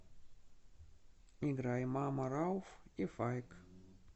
играй мама рауф и файк